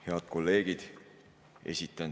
Head kolleegid!